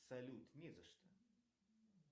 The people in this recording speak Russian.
салют не за что